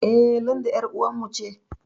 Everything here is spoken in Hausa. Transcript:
Eh, Linda ƴar uwar mu ce